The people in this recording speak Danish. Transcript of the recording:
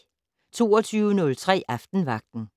22:03: Aftenvagten